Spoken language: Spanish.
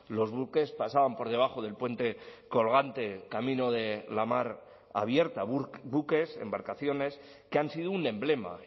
los buques pasaban por debajo del puente colgante camino de la mar abierta buques embarcaciones que han sido un emblema